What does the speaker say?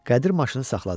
Qədir maşını saxladı.